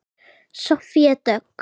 Soffía Dögg.